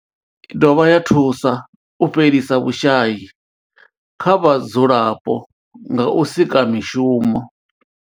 I dovha ya thusa u fhelisa vhushayi kha vhadzulapo nga u sika mishumo.